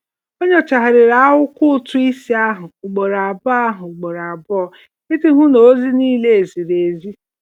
Ọ nyochagharịrị akwụkwọ ụtụisi ahụ ugboro abụọ ahụ ugboro abụọ iji hụ na ozi niile ziri ezi.